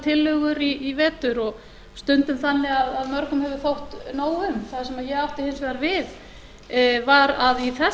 tillögur í vetur og stundum þannig að mörgum hefur þótt nóg um það sem ég átti hins vegar við var að í þessari umræðu í